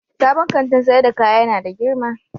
Sabon Kantin sayar da kaya ya na da girma.